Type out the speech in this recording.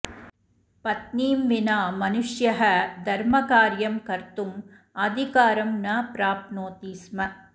पत्नीं विना मनुष्यः धर्मकार्यं कर्तुं अधिकारं न प्राप्नोति स्म